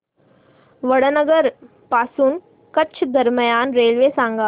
वडनगर पासून कच्छ दरम्यान रेल्वे सांगा